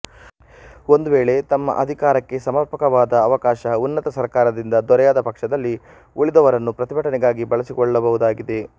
ಒಂದು ವೇಳೆ ತಮ್ಮ ಅಧಿಕಾರಕ್ಕೆ ಸಮರ್ಪಕವಾದ ಅವಕಾಶ ಉನ್ನತ ಸರ್ಕಾರದಿಂದ ದೊರೆಯದ ಪಕ್ಷದಲ್ಲಿ ಉಳಿದವರನ್ನು ಪ್ರತಿಭಟನೆಗಾಗಿ ಬಳಸಿಕೊಳ್ಳಬಹುದಾಗಿದೆ